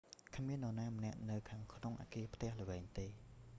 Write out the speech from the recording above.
គ្មាននរណាម្នាក់នៅខាងក្នុងអាគារផ្ទះល្វែងទេ